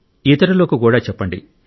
ఇతరులకు కూడా చెప్పండి